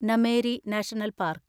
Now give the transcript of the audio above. Nameri national park